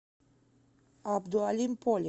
абдуалим поли